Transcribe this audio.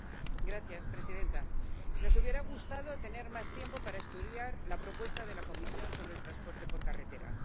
Señora presidenta, nos hubiera gustado tener más tiempo para estudiar la propuesta de la Comisión sobre el transporte por carretera.